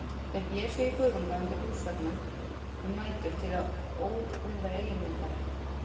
Þeir blésu í kuðunga undir húsveggjum um nætur til að óvirða eiginmenn þeirra.